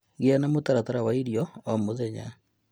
Gĩa na mũtaratara wa irio oro mũthenya